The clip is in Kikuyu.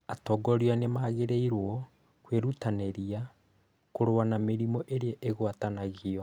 Atongoria nĩ magĩrĩirũo kwĩrutanĩria kũrũa na mĩrimũ ĩrĩa itagwatanagio.